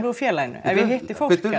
úr félaginu ef ég hitti fólk eða